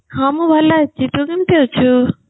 ହଁ ମୁଁ ଭଲ ଅଛି ତୁ କେମିତି ଅଛୁ